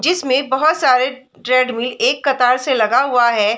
जिसमे बहोत सारे ट्रेडमिल एक कतार से लगा हुआ है।